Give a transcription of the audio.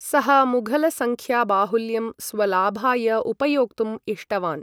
सः मुघलसंख्याबाहुल्यं स्वलाभाय उपयोक्तुं इष्टवान्।